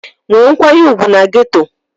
Nwee nkwanye ùgwù na geto!